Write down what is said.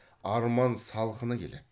арман салқыны келеді